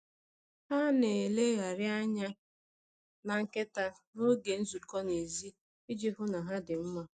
Ha na-elegharị anya na nkịta n’oge nzukọ n’èzí iji hụ na ha dị mma.